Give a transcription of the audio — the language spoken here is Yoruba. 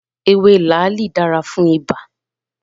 Ewé làálì dára fún ibà